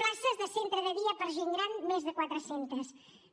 places de centre de dia per a gent gran més de quatre cents